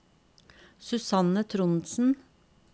Susanne Trondsen